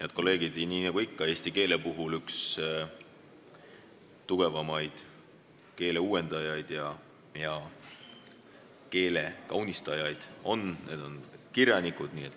Head kolleegid, nii nagu ikka, eesti keele puhul on ühed tugevamad keeleuuendajad ja -kaunistajad kirjanikud.